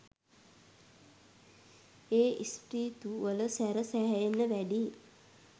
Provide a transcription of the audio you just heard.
ඒ ස්ප්‍රීතු වල සැර සැහෙන්න වැඩියි